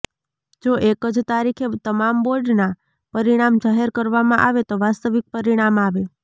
જો એક જ તારીખે તમામ બોર્ડના પરિણામ જાહેર કરવામાં આવે તો વાસ્તવિક પરિણામ આવે